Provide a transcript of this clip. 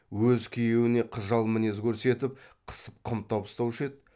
өз күйеуіне қыжал мінез көрсетіп қысып қымтап ұстаушы еді